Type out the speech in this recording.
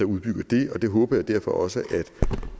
udbygger det og det håber jeg derfor også at